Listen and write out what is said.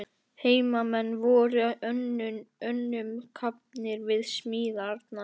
Heimamenn voru önnum kafnir við smíðarnar.